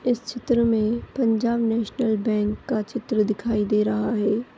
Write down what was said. इस चित्र मे पंजाब नेशिनल बैंक का चित्र दिखाई दे रहा है।